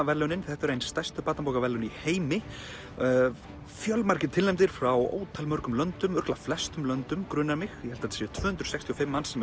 verðlaunin þetta eru ein stærstu barnabókaverðlaun í heimi fjölmargir tilnefndir frá ótal löndum örugglega flestum löndum grunar mig ég held að þetta séu tvö hundruð sextíu og fimm manns sem